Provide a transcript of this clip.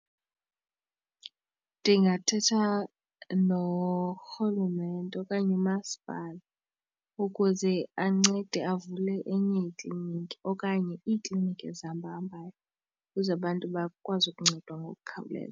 Ndingathetha norhulumente okanye umaspala ukuze ancede avule enye iikliniki okanye iikliniki ezihamba ahambayo ukuze abantu bakwazi ukuncedwa ngokukhawuleza.